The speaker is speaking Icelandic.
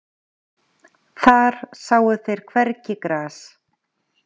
Þar sáu þeir hvergi gras.